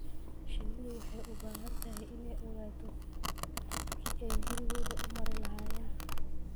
Shinnidu waxay u baahan tahay inay ogaato jidkii ay gurigooda u mari lahaayeen.